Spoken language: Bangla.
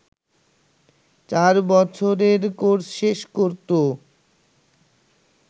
চার বছরের কোর্স শেষ করত